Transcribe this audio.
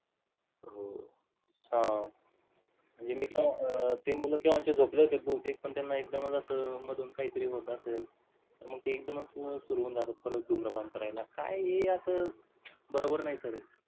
हो. हा म्हणजे मूल केव्हाच झोपले होते बहुतेक त्यांना एकदमच मधून असं काय तरी होत असेल, तर मग ते एक्दम च मग सुरु होऊन जात परत धूम्रपान करायला. काय आहे हे अस बरोबर नाही sir हे